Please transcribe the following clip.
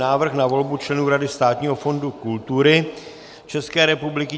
Návrh na volbu členů Rady Státního fondu kultury České republiky